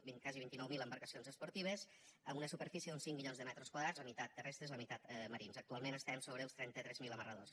quasi vint nou mil embarcacions esportives amb una superfície d’uns cinc milions de metres quadrats la meitat terrestres la meitat marins actualment estem sobre els trenta tres mil amarradors